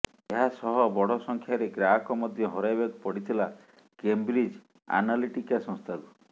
ଏହା ସହ ବଡ ସଂଖ୍ୟାରେ ଗ୍ରାହକ ମଧ୍ୟ ହରାଇବାକୁ ପଡିଥିଲା କେମ୍ବ୍ରିଜ୍ ଆନାଲିଟିକା ସଂସ୍ଥାକୁ